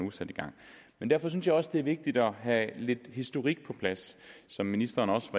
er sat i gang derfor synes jeg også det er vigtigt at have lidt historik på plads som ministeren også